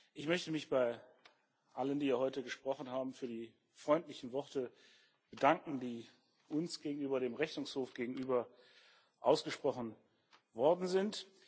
Ich möchte mich bei allen, die hier heute gesprochen haben, für die freundlichen Worte bedanken, die uns gegenüber dem Rechnungshof gegenüber ausgesprochen worden sind.